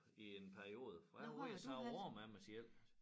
I en periode for jeg var ved at save æ arm af mig selv